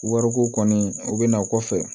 Wariko kɔni o bɛ na kɔfɛ